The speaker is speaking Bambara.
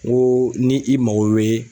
N ko ni i mago wɛ